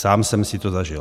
Sám jsem si to zažil.